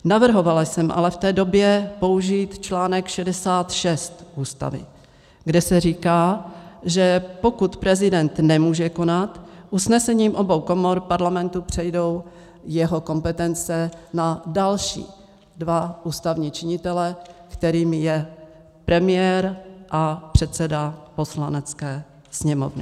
Navrhovala jsem ale v té době použít článek 66 Ústavy, kde se říká, že pokud prezident nemůže konat, usnesením obou komor Parlamentu přejdou jeho kompetence na další dva ústavní činitele, kterými je premiér a předseda Poslanecké sněmovny.